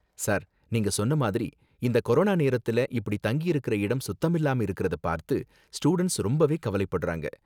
sir, நீங்க சொன்ன மாதிரி இந்த கொரோனா நேரத்துல இப்படி தங்கியிருக்குற இடம் சுத்தமில்லாம இருக்குறத பார்த்து ஸ்டூடண்ட்ஸ் ரொம்பவே கவலைப்படுறாங்க